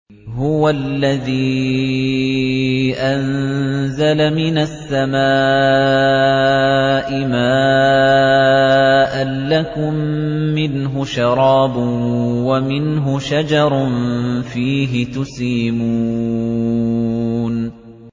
هُوَ الَّذِي أَنزَلَ مِنَ السَّمَاءِ مَاءً ۖ لَّكُم مِّنْهُ شَرَابٌ وَمِنْهُ شَجَرٌ فِيهِ تُسِيمُونَ